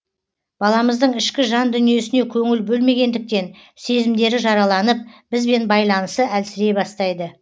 баламыздың ішкі жан дүниесіне көңіл бөлмегендіктен сезімдері жараланып бізбен байланысы әлсірей бастайды